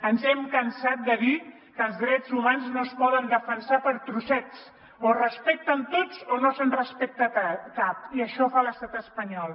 ens hem cansat de dir que els drets humans no es poden defensar per trossets o es respecten tots o no se’n respecta cap i això fa l’estat espanyol